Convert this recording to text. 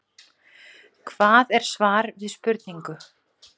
Hvað er svar við spurningu?